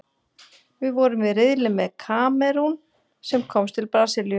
Við vorum í riðli með Kamerún, sem komst til Brasilíu.